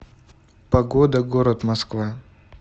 погода город москва